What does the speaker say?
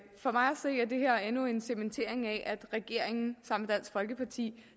for mig at endnu en cementering af at regeringen samt dansk folkeparti